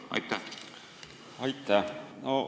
Aitäh!